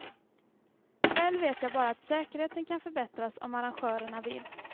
Själv vet jag bara att säkerheten kan förbättras om arrangörerna vill.